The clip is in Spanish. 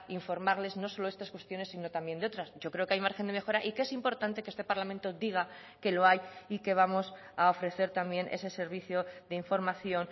informarles no solo estas cuestiones sino también de otras yo creo que hay margen de mejora y que es importante que este parlamento diga que lo hay y que vamos a ofrecer también ese servicio de información